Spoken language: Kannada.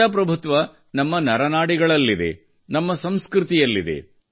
ಪ್ರಜಾಪ್ರಭುತ್ವ ನಮ್ಮ ನರನಾಡಿಗಳಲ್ಲಿದೆ ನಮ್ಮ ಸಂಸ್ಕೃತಿಯಲ್ಲಿದೆ